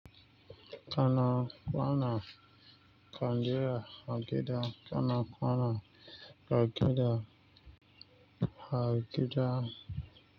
Kana kwana kandira agida kana kwana agida agida.